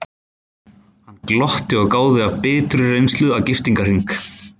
Hann glotti og gáði af biturri reynslu að giftingarhring.